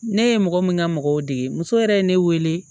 Ne ye mɔgɔ min ka mɔgɔw dege muso yɛrɛ ye ne wele